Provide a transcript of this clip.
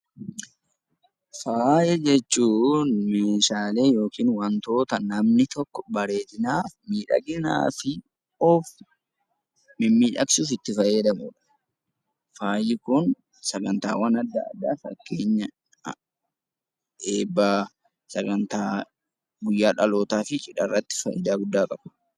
Faaya jechuun Meeshaalee yookiin waanta namni tokko bareedinaaf, miidhaginaa fi of mimmiidhagsuuf itti fayyadamudha. Faayi Kun sagantaawwan addaa addaa fakkeenyaaf eebba, sagantaa guyyaa dhalootaa fi cidha irratti fayidaa guddaa qabudha.